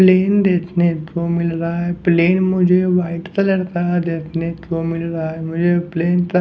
plane देखने को मिल रहा है प्लेन मुझे वाइट कलर का देखने को मिल रहा है मुझे प्लेन का --